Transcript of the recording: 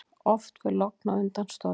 Oft fer logn á undan stormi.